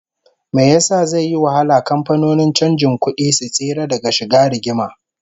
Why will it be difficult for bureau de change firms to stay out of trouble?